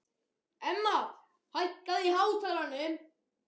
Emma, hækkaðu í hátalaranum.